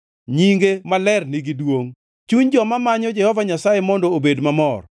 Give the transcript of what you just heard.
Nyinge maler nigi duongʼ, chuny joma manyo Jehova Nyasaye mondo obed mamor.